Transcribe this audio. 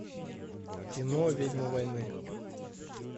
кино ведьма войны